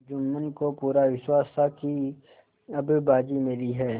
जुम्मन को पूरा विश्वास था कि अब बाजी मेरी है